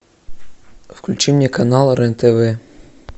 включи мне канал рен тв